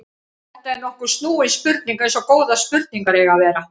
Þetta er nokkuð snúin spurning eins og góðar spurningar eiga að vera.